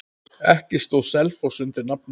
Ekki stóð Selfoss undir nafni.